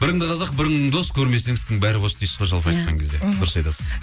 біріңді қазақ бірің дос көрмесең істің бәрі бос дейсіз ғой жалпы айтқан кезде дұрыс айтасыз